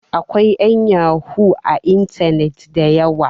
akwai yanyahu a intanet da yawa